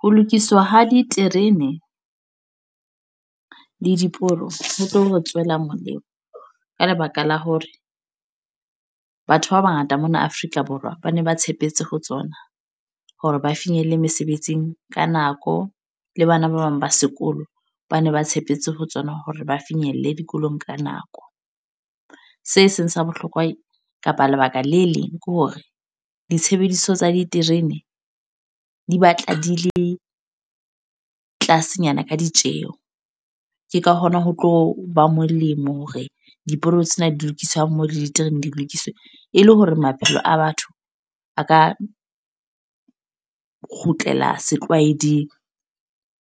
Ho lokiswa ha diterene, le diporo. Ho tlo re tswela molemo ka lebaka la hore, batho ba bangata mona Afrika Borwa ba ne ba tshepetse ho tsona. Hore ba finyelle mesebetsing ka nako. Le bana ba bang ba sekolo, ba ne ba tshepetse ho tsona hore ba finyelle dikolong ka nako. Se seng sa bohlokwa kapa lebaka le leng ke hore, ditshebediswa tsa diterene di batla di le tlasenyana ka ditjeho. Ke ka hona ho tlo ba molemo hore diporo tsena di lokiswe ha mmoho le diterene di lokiswe. E le hore maphelo a batho, a ka kgutlela setlwaeding.